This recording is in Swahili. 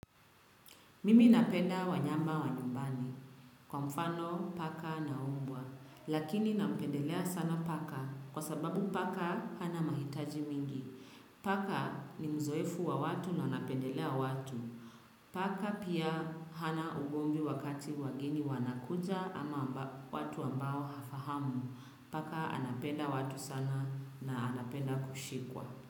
Mimi napenda wanyama wa nyumbani. Kwa mfano, paka na umbwa. Lakini napendelea sana paka. Kwa sababu paka hana mahitaji mingi. Paka ni mzoefu wa watu na anapendelea watu. Paka pia hana ugomvi wakati wageni wanakuja ama watu ambao hafahamu. Paka anapenda watu sana na anapenda kushikwa.